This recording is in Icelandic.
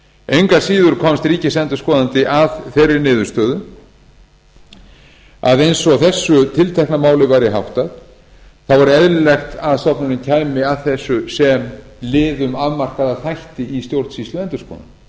engu að síður komst ríkisendurskoðandi að þeirri niðurstöðu að eins og þessu tiltekna máli væri háttað þá væri eðlilegt að stofnunin kæmi að þessu sem lið um afmarkaða þætti í stjórnsýsluendurskoðun